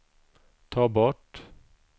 ta bort